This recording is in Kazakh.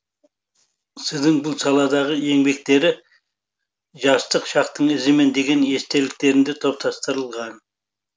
сіздің бұл саладағы еңбектері жастық шақтың ізімен деген естеліктерінде топтастырылған